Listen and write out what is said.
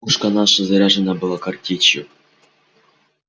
пушка наша заряжена была картечью